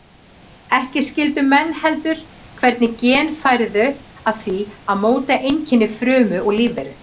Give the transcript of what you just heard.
Ekki skildu menn heldur hvernig gen færu að því að móta einkenni frumu og lífveru.